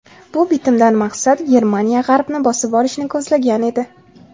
Bu bitimdan maqsad Germaniya g‘arbni bosib olishni ko‘zlagan edi.